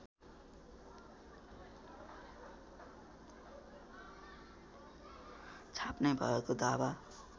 छाप्ने भएको दावा